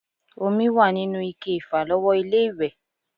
Omi wà nínú ike ìfàlọ́wọ́ ilé-ìwẹ̀